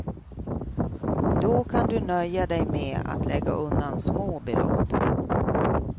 Då kan du nöja dig med att lägga undan små belopp.